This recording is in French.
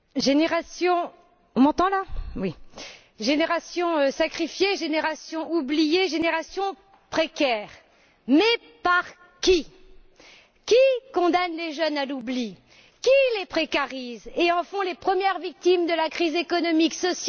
Madame la Présidente, génération sacrifiée, génération oubliée, génération précaire, mais par qui? Qui condamne les jeunes à l'oubli? Qui les précarise et en fait les premières victimes de la crise économique, sociale et écologique?